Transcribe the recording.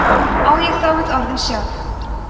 á ég þá við orðin sjálf